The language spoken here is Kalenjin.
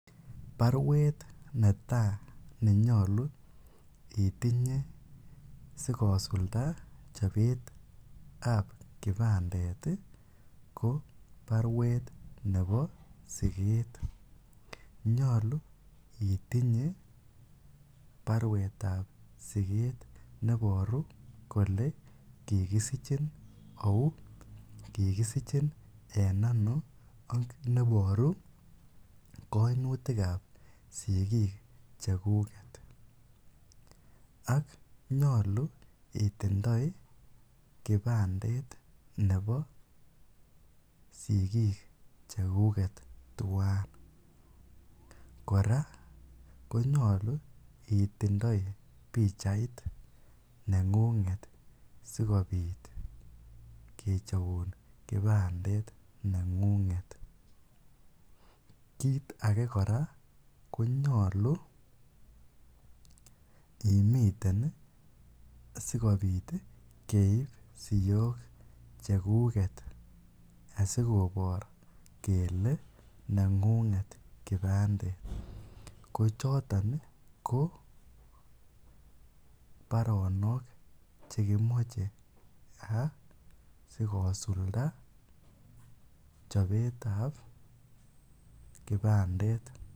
Barwet netaa nenyolu itinye sikosulda chobetab kipandet ko barwet nebo siket, nyolu itinye barwetab siket neboru kolee kikisichin auu, kikisichin en anoo ak neboru koinutikab sikiik chekuket ak nyolu itindoi kipandet nebo sikik chekuket twaan, kora konyolu itindoi bichait nengunget sikobit kechobun kipandet nengunget, kiit akee kora konyolu imiten sikobit keib siok chekuket asikobor kelee nengunget kipandet, ko choton ko baronok chekimoche asikosulda chobetab kipandet.